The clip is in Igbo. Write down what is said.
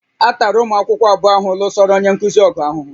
A tara ụmụ akwụkwọ abụọ ahụ lụsoro onye nkuzi ọgụ ahụhụ